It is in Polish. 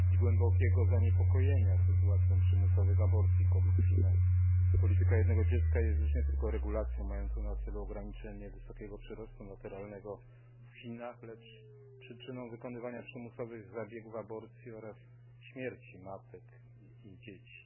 Trudno nie wyrazić głębokiego zaniepokojenia sytuacją przymusowych aborcji kobiet w Chinach. Polityka jednego dziecka jest już nie tylko regulacją mającą na celu ograniczenie wysokiego przyrostu naturalnego w Chinach, lecz przyczyną wykonywania przymusowych zabiegów aborcji oraz śmierci matek i dzieci.